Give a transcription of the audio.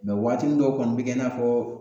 Mɛ wagatinin dɔw kɔni bi kɛ i n'a fɔ